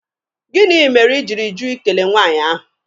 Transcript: Gịnị mere I jiri jụ Ị kele nwaanyị ahụ?